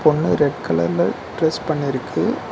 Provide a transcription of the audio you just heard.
பொன்னு red கலர்ல dress பண்ணிருக்கு.